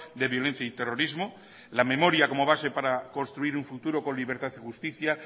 de violencia y terrorismo la memoria como base para construir un futuro con libertad y justicia